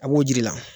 A b'o jiri la